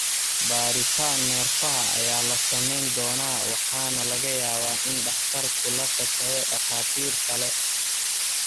Baadhitaan neerfaha ayaa la samayn doonaa waxaana laga yaabaa in dhakhtarku la tashado dhakhaatiir kale.